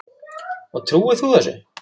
Og trúir þú þessu?